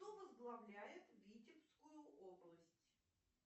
кто возглавляет витебскую область